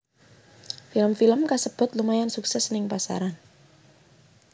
Film film kasebut lumayan sukses ning pasaran